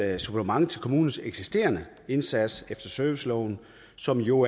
supplement til kommunernes eksisterende indsats efter serviceloven som jo